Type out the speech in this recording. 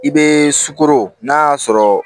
I be sukoro n'a y'a sɔrɔ